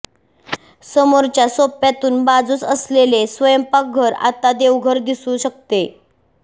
समोरच्या सोप्यातून बाजूस असलेले स्वयंपाकघर आणि देवघर दिसू शकते